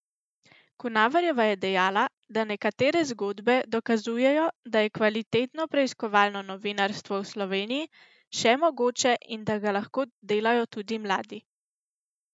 Kunaverjeva je dejala, da nekatere zgodbe dokazujejo, da je kvalitetno preiskovalno novinarstvo v Sloveniji še mogoče in da ga lahko delajo tudi mladi.